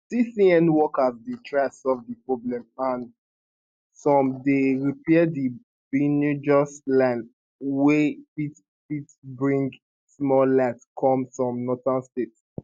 tcn workers dey try solve di problem and some dey repair di benuejos line wey fit fit bring small light come some northern states